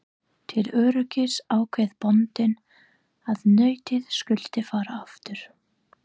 Til öryggis ákvað bóndinn að nautið skyldi fara aftur.